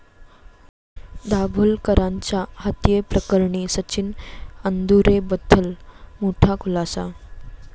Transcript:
दाभोलकरांच्या हत्येप्रकरणी सचिन अंदुरेबद्दल मोठा खुलासा